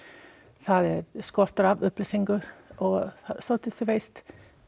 það er skortur á upplýsingum og svolítið þú veist